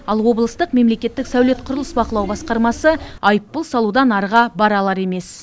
ал облыстық мемлекеттік сәулет құрылыс бақылау басқармасы айыппұл салудан арыға бара алар емес